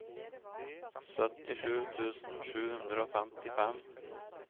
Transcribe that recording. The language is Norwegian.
syttisju tusen sju hundre og femtifem